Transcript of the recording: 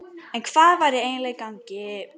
En hvað væri eiginlega í gangi?